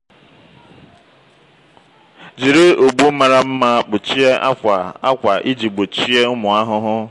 jiri ụgbụ mara mma kpuchie akwa akwa iji gbochie ụmụ ahụhụ.